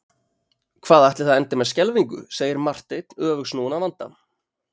Hvað ætli það endi með skelfingu segir Marteinn öfugsnúinn að vanda.